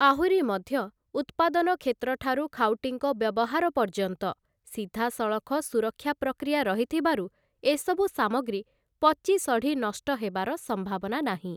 ଆହୁରି ମଧ୍ୟ ଉତ୍ପାଦନ କ୍ଷେତ୍ରଠାରୁ ଖାଉଟିଙ୍କ ବ୍ୟବହାର ପର୍ଯ୍ୟନ୍ତ ସିଧାସଳଖ ସୁରକ୍ଷା ପ୍ରକ୍ରିୟା ରହିଥିବାରୁ ଏସବୁ ସାମଗ୍ରୀ ପଚିସଢ଼ି ନଷ୍ଟ ହେବାର ସମ୍ଭାବନା ନାହିଁ ।